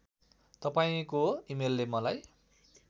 तपाईँको इमेलले मलाई